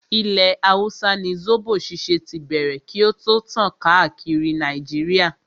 Ilẹ̀ hausa ni zobo ṣíṣe tí bẹ̀rẹ̀ kí o tó tàn káàkiri Nàìjíríà.